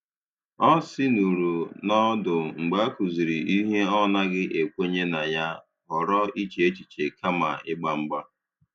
Ọ sìnuru n’ọdụ mgbe e kụziri ihe ọ̀ naghị ekwenye na ya, họrọ iche echiche kama ịgba mgba.